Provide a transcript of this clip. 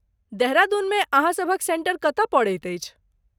देहरादूनमे अहाँ सभक सेंटर कतय पड़ैत अछि?